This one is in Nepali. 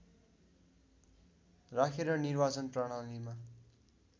राखेर निर्वाचन प्रणालीमा